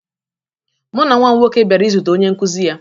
Mụ na nwa m nwoke bịara izute onye nkụzi ya